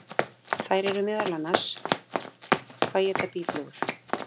Þær eru meðal annars: Hvað éta býflugur?